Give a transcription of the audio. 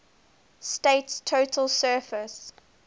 state's total surface